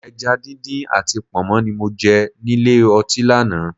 Ẹja díndín àti Pọ̀nmọ́ ni mo jẹ nílé ọtí lánàá